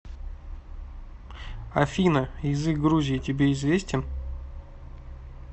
афина язык грузии тебе известен